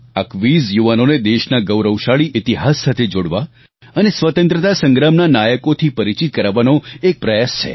આ ક્વિઝ યુવાનોને દેશના ગૌરવશાળી ઈતિહાસ સાથે જોડવા અને સ્વતંત્રતા સંગ્રામના નાયકોથી પરિચિત કરાવવાનો એક પ્રયાસ છે